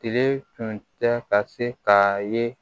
Tile tun tɛ ka se ka ye